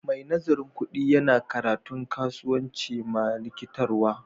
Mai nazarin kudi Yana karatu kasuwanci ma rikitarwa.